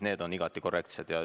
Need on igati korrektsed.